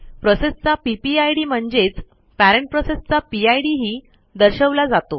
प्रोसेसचा PPID म्हणजेच parent प्रोसेसचा PID ही दर्शवला जातो